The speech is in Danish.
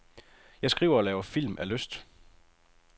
Jeg skriver og laver film af lyst.